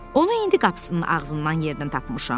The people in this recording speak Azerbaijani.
Onu indi qapısının ağzından yerdən tapmışam.